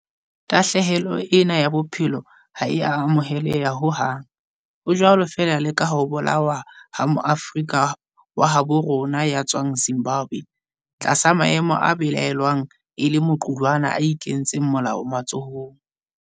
Tahlehelo ena ya bophelo ha e a amoheleha ho hang, ho jwalo feela le ka ho bolawa ha Moafrika wa habo rona ya tswang Zimbabwe tlasa maemo a belaellwang e le a maqulwana a inketseng molao matsohong.